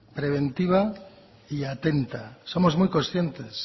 preventiva y atenta somos muy conscientes